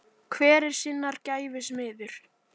Hver er sinnar gæfu smiður